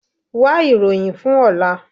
Wá ìròyìn fún ọ̀la.